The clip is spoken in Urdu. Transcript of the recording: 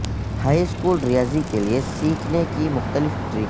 ہائی سکول ریاضی کے لئے سیکھنے کے مختلف ٹریک